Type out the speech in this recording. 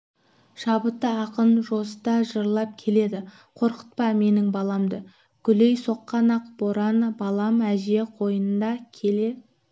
шабытты ақын жосыта жырлап келеді қорқытпа менің баламды гулей соққан ақ боран балам әже қойнында келе